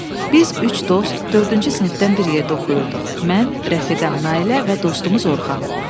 Biz üç dost, dördüncü sinifdən bir yerdə oxuyurduq: mən, rəfiqəm Nailə və dostumuz Orxan.